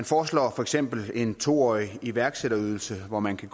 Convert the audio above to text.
foreslår for eksempel en to årig iværksætterydelse hvor man kan